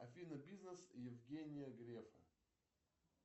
афина бизнес евгения грефа